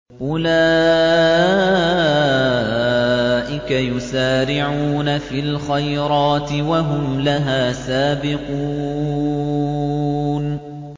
أُولَٰئِكَ يُسَارِعُونَ فِي الْخَيْرَاتِ وَهُمْ لَهَا سَابِقُونَ